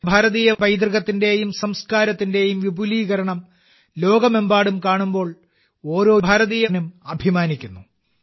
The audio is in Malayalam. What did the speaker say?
ഭാരതീയ പൈതൃകത്തിന്റെയും സംസ്കാരത്തിന്റെയും വിപുലീകരണം ലോകമെമ്പാടും കാണുമ്പോൾ ഓരോ ഭാരതീയനും അഭിമാനിക്കുന്നു